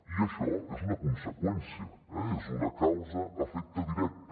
i això és una conseqüència eh és una causa efecte directa